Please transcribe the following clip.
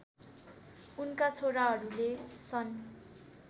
उनका छोराहरूले सन्